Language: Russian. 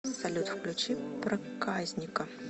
салют включи проказника